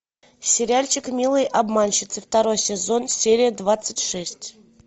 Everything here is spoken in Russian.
сериальчик милые обманщицы второй сезон серия двадцать шесть